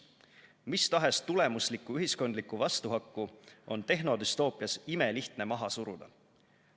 Mistahes tulemuslikku ühiskondlikku vastuhakku on tehnodüstoopias imelihtne maha suruda.